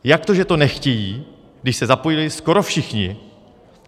Jak to, že to nechtějí, když se zapojili skoro všichni?